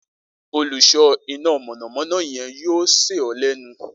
Oluso ina mọnamọna yẹn yoo ṣe ọ lẹnu